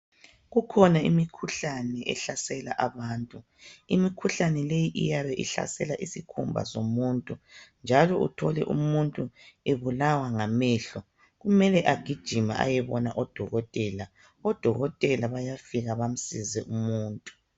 Kukhona imikhuhlane ehlasela abantu. Imikhuhlane leyi iyabe ihlasela isikhumba somuntu njalo uthole umuntu ebulawa ngamehlo. Kumele agijime ayebona odokotela. Odokotela bayafika bamsize umuntu.